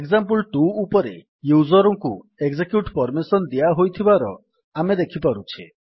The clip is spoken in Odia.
ଏକ୍ସାମ୍ପଲ2 ଉପରେ ୟୁଜର୍ ଙ୍କୁ ଏକଜେକ୍ୟୁଟ୍ ପର୍ମିସନ୍ ଦିଆହୋଇଥିବାର ଆମେ ଦେଖିପାରୁଛେ